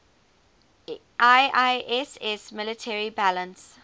iiss military balance